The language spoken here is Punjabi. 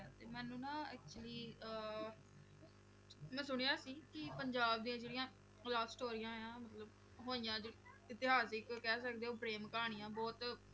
ਤੇ ਮੈਨੂੰ ਨਾ actually ਅਹ ਮੈਂ ਸੁਣਿਆ ਸੀ ਕਿ ਪੰਜਾਬ ਦੀਆਂ ਜਿਹੜੀਆਂ love ਸਟੋਰੀਆਂ ਆਂ ਮਤਲਬ ਹੋਈਆਂ ਜੋ ਇਤਿਹਾਸ ਦੀ ਕੋਈ ਕਹਿ ਸਕਦੇ ਹੋ ਪ੍ਰੇਮ ਕਹਾਣੀਆਂ ਬਹੁਤ